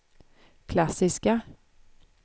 klassiska